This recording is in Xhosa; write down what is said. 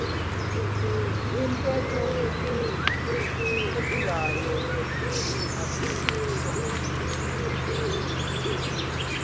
iyintetho ephilayo asisiso